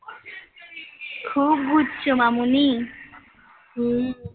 খুব ঘুরছ মামনি. হুম.